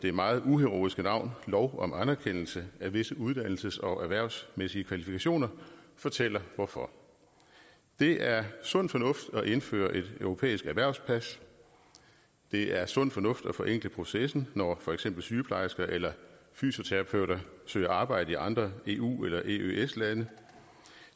det meget uheroiske navn lov om anerkendelse af visse uddannelses og erhvervsmæssige kvalifikationer fortæller hvorfor det er sund fornuft at indføre et europæisk erhvervspas det er sund fornuft at forenkle processen når for eksempel sygeplejersker eller fysioterapeuter søger arbejde i andre eu eller eøs lande